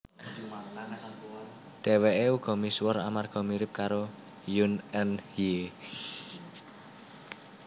Dheweke uga misuwur amarga mirip karo Yoon Eun Hye